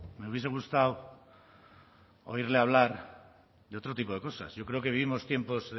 me hubiese gustado oírle hablar de otro tipo de cosas yo creo que vivimos tiempos